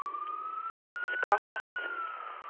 skapat